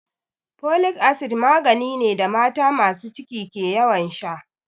Folic acid magani ne da mata masu ciki ke ƴawan sha.